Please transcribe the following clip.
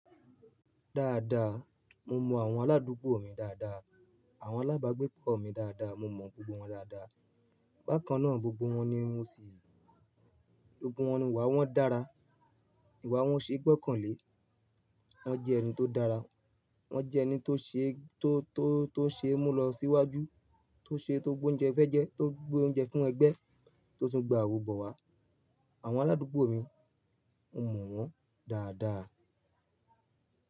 Dáadáa, mo mọ àwọn aládùúgbò mi dáadáa, àwọn alábàágbépọ̀ mi dáadáa, mo mọ gbogbo wọn dáadáa. Bákan náà, gbogbo wọn ni wọ́n sì, gbogbo wọn ni ìwà wọn dára. Ìwà wọn ṣeé gbọ́kànlé, wọ́n jẹ́ ẹni tó dára, wọ́n jẹ́ ẹni tó ṣe, tó, tó, tó ṣe mú lọ síwájú, tó ṣe tó gbé oúnjẹ fẹ́ jẹ, tó gbé oúnjẹ fún ẹgbẹ́, tó tún gbé àwò bọ̀ wá. Àwọn aládùúgbò mi, mo mọ̀ wọ́n dáadáa.